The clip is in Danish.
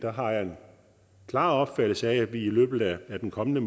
har jeg en klar opfattelse af at vi i løbet af den kommende